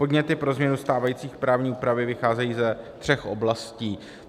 Podněty pro změnu stávající právní úpravy vycházejí ze tří oblastí.